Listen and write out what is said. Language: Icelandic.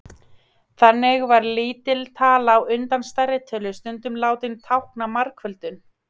þannig var lítil tala á undan stærri tölu stundum látin tákna margföldun